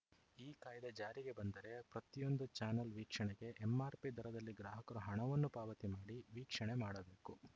ಈ ಕಾಯ್ದೆ ಜಾರಿಗೆ ಬಂದರೆ ಪ್ರತಿಯೊಂದು ಚಾನಲ್‌ ವೀಕ್ಷಣೆಗೆ ಎಂಆರ್‌ಪಿ ದರದಲ್ಲಿ ಗ್ರಾಹಕರು ಹಣವನ್ನು ಪಾವತಿ ಮಾಡಿ ವೀಕ್ಷಣೆ ಮಾಡಬೇಕು